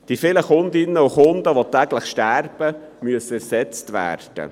Die täglich sterbenden Kundinnen und Kunden müssen ersetzt werden.